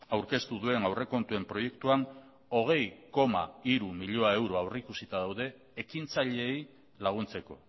aurkeztu duen aurrekontuen proiektuan hogei koma hiru milioi euro aurrikusita daude ekintzaileei laguntzeko